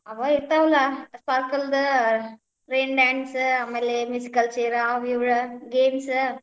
ಅವ್ ಇರ್ತಾವಲಾ, circle ದ rain dance ಆಮೇಲೆ musical chair ಅವ್, ಇವ್ games .